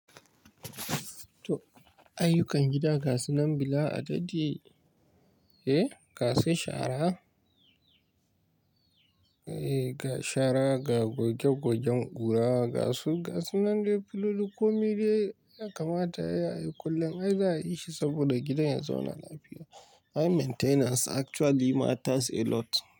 To ayyukan gida, gasu nan bila adadi, eh? Gasu shara, eh ga shara, ga goge gogen kura, gasu, gasu nan dai filu komai dai. Ya kamata ai yi kullum ai za a yi shi saboda gidan ya zauna lafiya. High maintenance actually matters a lot.